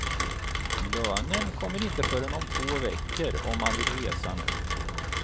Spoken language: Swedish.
Lönen kommer inte förrän om två veckor och man vill resa nu.